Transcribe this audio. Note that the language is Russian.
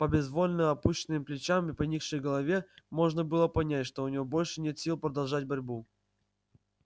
по безвольно опущенным плечам и поникшей голове можно было понять что у него больше нет сил продолжать борьбу